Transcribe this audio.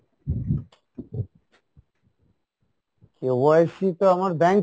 KYC তো আমার bank